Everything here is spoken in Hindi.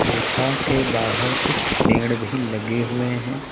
गुफा के बाहर कुछ पेड़ भी लगे हुए हैं।